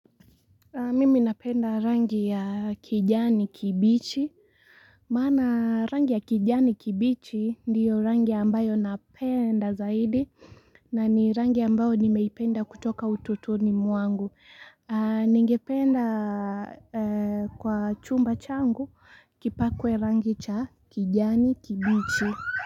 Mimi napenda rangi ya kijani kibichi Maana rangi ya kijani kibichi ndiyo rangi ambayo napenda zaidi na ni rangi ambayo nimeipenda kutoka utotoni mwangu Ningependa kwa chumba changu Kipakwe rangi cha kijani kibichi.